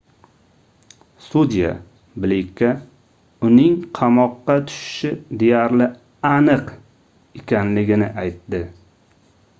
sudya bleykka uning qamoqqa tushishi deyarli aniq ekanligini aytdi